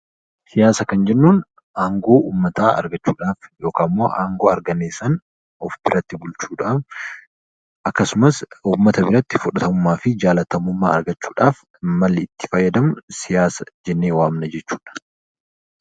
Siyaasa kan jennuun aangoo uummataa argachuu dhaaf yookaan ammoo aangoo arganne sana of biratti bulchuudhaaf akkasumas uummata biratti fudhatamummaa fi jaallatamummaa argachuu dhaaf malli itti fayyadamnu 'Siyaasa' jennee waamna jechuu dha.